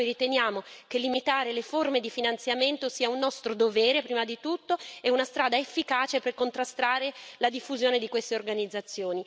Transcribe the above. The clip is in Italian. Intanto noi riteniamo che limitare le forme di finanziamento sia un nostro dovere, prima di tutto, e una strada efficace per contrastare la diffusione di queste organizzazioni.